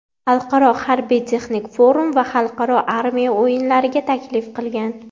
Xalqaro harbiy-texnik forum va Xalqaro armiya o‘yinlariga taklif qilgan.